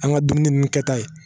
An ka dumuni ninnu kɛta ye